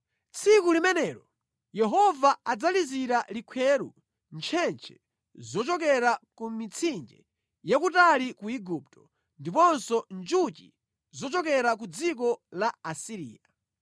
Tsiku limenelo Yehova adzalizira likhweru ntchentche zochokera ku mitsinje yakutali ku Igupto, ndiponso njuchi zochokera ku dziko la Asiriya.